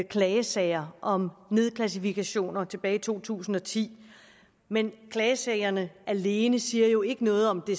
klagesager om nedklassifikationer tilbage i to tusind og ti men klagesagerne alene siger jo ikke noget om det